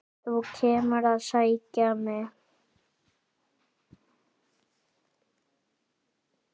Þú kemur að sækja mig.